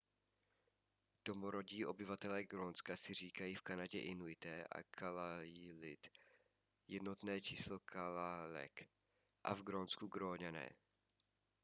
domorodí obyvatelé grónska si říkají v kanadě inuité a kalaallit jednotné číslo kalaalleq a v grónsku gróňané